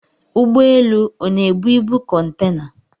Ụgbọelu ọ na-ebu ibu kọntena?